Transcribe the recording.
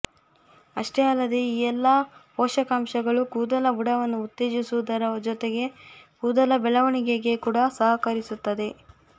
ಅಷ್ಟೇ ಅಲ್ಲದೆ ಈ ಎಲ್ಲಾ ಪೋಷಕಾಂಶಗಳು ಕೂದಲ ಬುಡವನ್ನು ಉತ್ತೇಜಿಸುವುದರ ಜೊತೆಗೆ ಕೂದಲ ಬೆಳವಣಿಗೆಗೆ ಕೂಡ ಸಹಕರಿಸುತ್ತವೆ